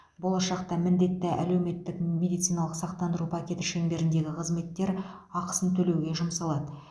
болашақта міндетті әлеуметтік медициналық сақтандыру пакеті шеңберіндегі қызметтер ақысын төлеуге жұмсалады